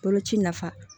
Boloci nafa